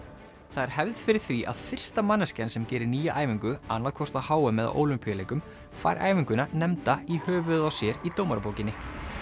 það er hefð fyrir því að fyrsta manneskjan sem gerir nýja æfingu annað hvort á h m eða Ólympíuleikum fær æfinguna nefnda í höfuðið á sér í dómarabókinni